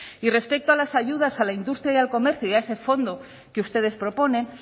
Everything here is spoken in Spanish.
y respecto a las ayudas a la industria y al comercio y a ese fondo que ustedes proponen